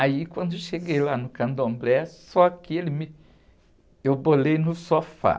Aí, quando cheguei lá no candomblé, só que ele me, eu bolei no sofá.